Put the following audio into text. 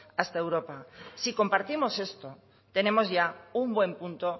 hasta europa si compartimos esto tenemos ya un buen punto